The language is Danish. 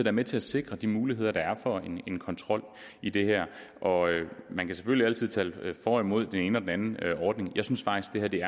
er med til at sikre de muligheder der er for en kontrol i det her man kan selvfølgelig altid tale for og imod den ene og den anden ordning jeg synes faktisk at det